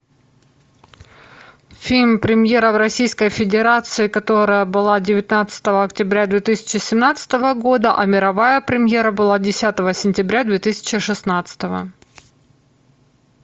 фильм премьера в российской федерации которая была девятнадцатого октября две тысячи семнадцатого года а мировая премьера была десятого сентября две тысячи шестнадцатого